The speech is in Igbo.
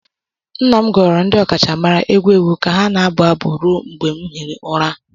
Nna m goro ndị ọkachamara egwu egwu ka ha na-abụ abụ ruo mgbe m hiri ụra